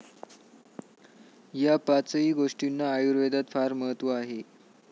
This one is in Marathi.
या पाचही गोष्टींना आयुर्वेदात फार महत्व आहे.